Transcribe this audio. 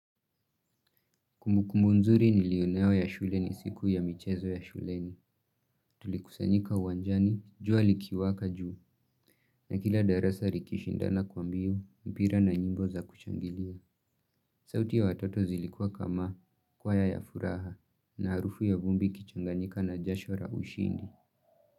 Kumbukumbu muzuri nili eneo ya shuleni siku ya michezo ya shuleni. Tulikusanyika uwanjani, jua likiwaka juu, na kila darasa likishindana kwa mbio, mpira na nyimbo za kushangilia. Sauti ya watoto zilikuwa kama, kwaya ya furaha, na arufu ya vumbi ikichanganika na jasho la ushindi.